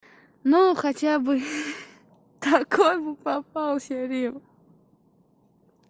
ну хотя бы хи-хи такой бы попался рим